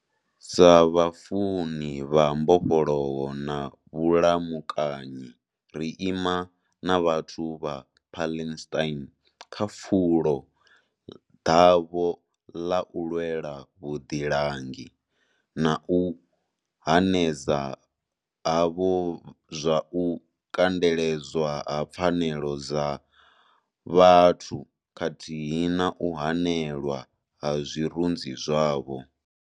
Sa vhafuni vha mbofholowo na vhulamukanyi, ri ima na vhathu vha Palestine kha fulo ḓavho ḓa u lwela vhuḓilangi, na u hanedza havho zwa u kandeledzwa ha pfanelo dza vhathu khathihi na u hanelwa ha zwirunzi zwavho.